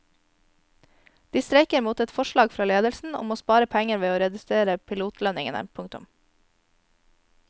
De streiker mot et forslag fra ledelsen om å spare penger ved å redusere pilotlønningene. punktum